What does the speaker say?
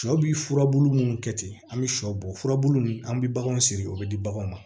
Sɔ bi furabulu mun kɛ ten an bi sɔ bɔ furabulu min an bɛ baganw siri o bɛ di baganw ma